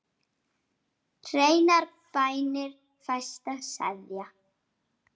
Hreinar bænir fæsta seðja.